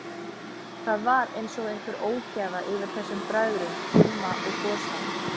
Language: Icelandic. Það var einsog einhver ógæfa yfir þessum bræðrum, Gumma og Gosa.